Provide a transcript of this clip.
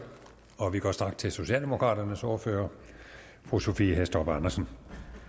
og vi går straks til socialdemokraternes ordfører fru sophie hæstorp andersen